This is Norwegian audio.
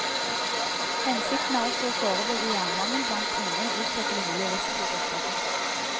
Hensikten er også å forebygge jernmangel blant barn og utpeke mulige risikogrupper.